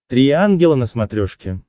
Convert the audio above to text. три ангела на смотрешке